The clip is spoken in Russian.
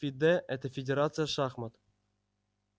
фиде это фидерация шахмат